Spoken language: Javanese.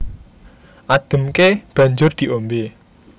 Ademké banjur diombé